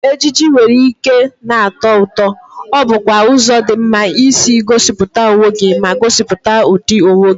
Ejiji nwere ike na-atọ ụtọ, ọ bụkwa ụzọ dị mma isi gosipụta onwe gị ma gosipụta ụdị onwe gị.